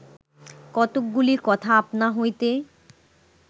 কতকগুলি কথা আপনা হইতে